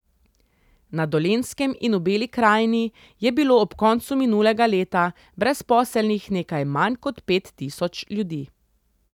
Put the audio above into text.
Na Dolenjskem in v Beli krajini je bilo ob koncu minulega leta brezposelnih nekaj manj kot pet tisoč ljudi.